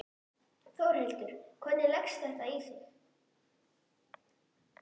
Þórhildur: Og hvernig leggst þetta nú í þig?